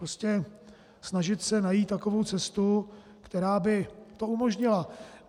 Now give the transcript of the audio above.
Prostě snažit se najít takovou cestu, která by to umožnila.